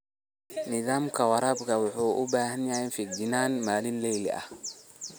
Nidaamka waraabka wuxuu u baahan yahay feejignaan maalinle ah.